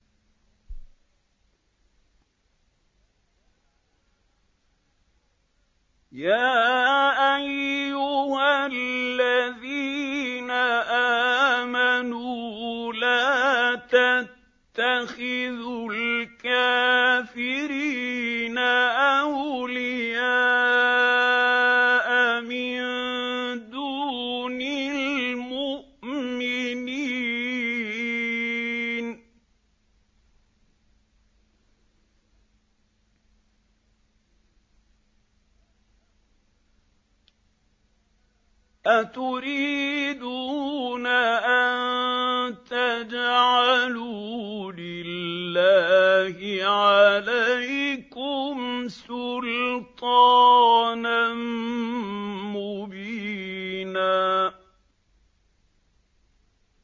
يَا أَيُّهَا الَّذِينَ آمَنُوا لَا تَتَّخِذُوا الْكَافِرِينَ أَوْلِيَاءَ مِن دُونِ الْمُؤْمِنِينَ ۚ أَتُرِيدُونَ أَن تَجْعَلُوا لِلَّهِ عَلَيْكُمْ سُلْطَانًا مُّبِينًا